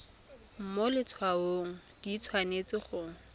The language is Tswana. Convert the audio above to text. mo letshwaong di tshwanetse go